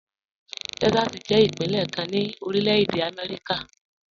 Texas jẹ ipinlẹ̀ kan ni Orílẹ̀-èdè Amẹ́ríkà.